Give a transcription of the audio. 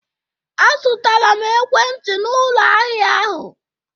Azụtara m ekwentị n'ụlọ ahịa ahụ